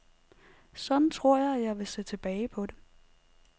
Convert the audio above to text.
Sådan tror jeg, at jeg vil se tilbage på det.